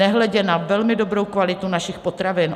Nehledě na velmi dobrou kvalitu našich potravin.